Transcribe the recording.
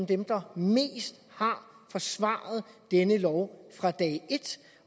dem der mest har forsvaret denne lov fra dag et